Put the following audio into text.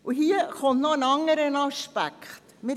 Hier kommt noch ein weiterer Aspekt hinzu: